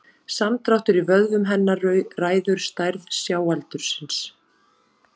Samdráttur í vöðvum hennar ræður stærð sjáaldursins.